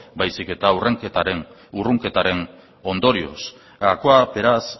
baizik eta urrunketaren ondorioz gakoa beraz